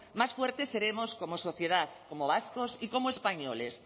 más fuertes seremos como sociedad como vascos y como españoles